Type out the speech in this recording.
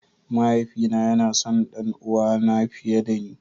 Mahaifi na yana son ɗanuwa na fiye da ni.